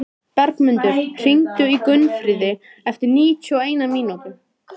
Bergmundur, hringdu í Gunnfríði eftir níutíu og eina mínútur.